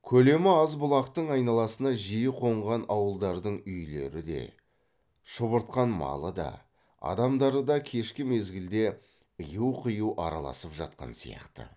көлемі аз бұлақтың айналасына жиі қонған ауылдардың үйлері де шұбыртқан малы да адамдары да кешкі мезгілде ыю қию араласып жатқан сияқты